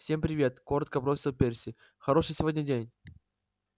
всем привет коротко бросил перси хороший сегодня день